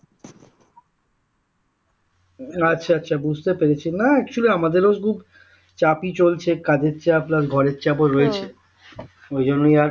আচ্ছা আচ্ছা বুঝতে পেরেছি না actually আমাদেরও ঠিক চাপেই চলছে কাজের চাপ না ঘরের চাপেও রয়েছে ওই জন্যই আরকি